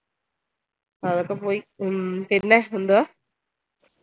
അതൊക്കെ പോയി ഉം പിന്നെ എന്തുവാ